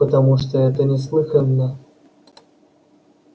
потому что это неслыханно